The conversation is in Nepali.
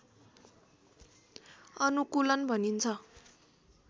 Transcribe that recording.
अनुकूलन भनिन्छ